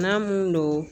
N'a mun don